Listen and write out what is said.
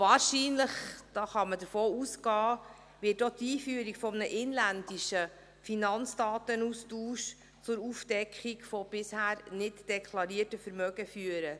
Wahrscheinlich – davon kann man ausgehen – wird auch die Einführung eines inländischen Finanzdatenaustauschs zur Aufdeckung von bisher nicht deklarierten Vermögen führen.